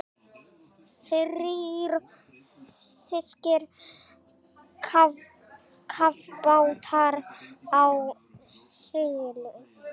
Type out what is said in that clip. Þrír þýskir kafbátar á siglingu.